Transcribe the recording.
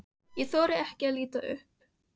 Ég þori ekki að líta upp.